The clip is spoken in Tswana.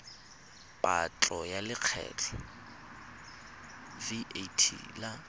patlo ya lekgetho vat la